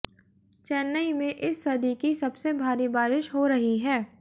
चेन्नई में इस सदी की सबसे भारी बारिश हो रही है